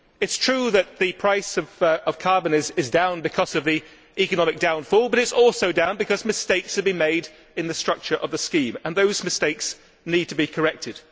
It is true that the price of carbon is down because of the economic downturn, but it is also down because mistakes have been made in the structure of the scheme, and those mistakes need to be corrected.